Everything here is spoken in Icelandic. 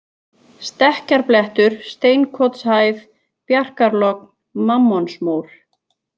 Stekkjarblettur, Steinkotshæð, Bjarkarlogn, Mammonsmór